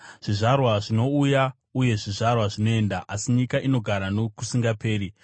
Zvizvarwa zvinouya uye zvizvarwa zvinoenda, asi nyika inogara nokusingaperi.